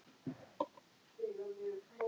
Þar með var þessu landnámi lokið.